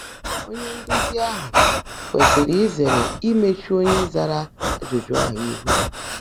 Ónyé ndụ́zí áhụ́ kwèsị́rị́ ízèèré ímèechú ónyé záàrá ájụ́jụ́ áhụ́ íhú.